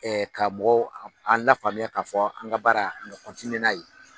ka mɔgɔw an lafaamuya k'a fɔ an ka baara an ka n'a ye.